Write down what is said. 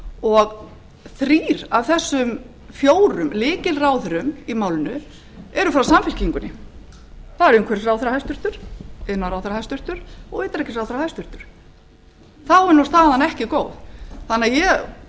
og þrír af þessum fjórum lykilráðherrum í málinu eru frá samfylkingunni það er hæstvirtur umhverfisráðherra hæstvirtur iðnaðarráðherra og hæstvirtur utanríkisráðherra þá er staðan ekki góð þannig að